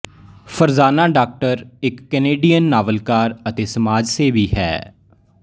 Farzana Doctor ਇੱਕ Canadian ਨਾਵਲਕਾਰ ਅਤੇ ਸਮਾਜ ਸੇਵੀ ਹੈ